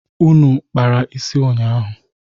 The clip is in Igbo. Unu kpara isi ụnyaahụ?